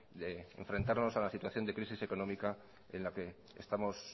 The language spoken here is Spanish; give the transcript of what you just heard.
a la crisis económica en la que estamos